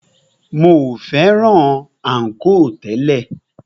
Mi o fẹ́ràn ànkò tẹ́lẹ̀.